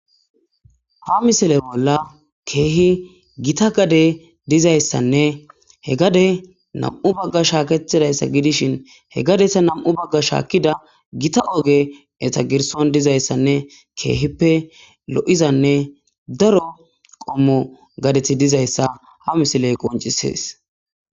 ha misile bolla keehi gita gadey dizayssanne he gade nam7u bagga shaaketidayssa gidishin he gadeta nam7u bagga shaakida gita oge eta girson dizayssanne keehippe lo7izanne daro qommo gadethi dizayssa ha misiley qoncisees